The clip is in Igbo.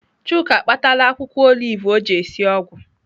Chuka akpatala akwụkwọ olive ọ ji esi ọgwụ.